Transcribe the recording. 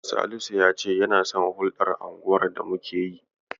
Salisu ya ce yana son hukɗar unguwar da muke yi